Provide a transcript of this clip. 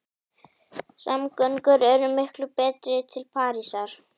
Samgöngur eru miklu betri til Parísar.